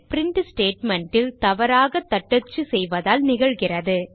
print statement ல் தவறாக தட்டச்சு செய்வதால் நிகழ்கிறது